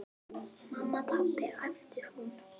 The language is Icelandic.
Mamma, pabbi æpti hún.